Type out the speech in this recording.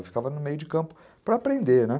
Eu ficava no meio de campo para aprender, né?